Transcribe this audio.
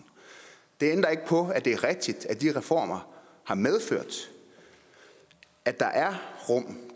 det ændrer ikke på at det er rigtigt at de reformer har medført at der er rum